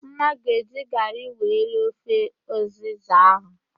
Mma ga eji garị wee rie ofe ụzịza ahụ